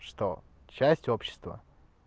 что часть общества